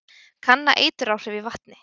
Kanna eituráhrif í vatni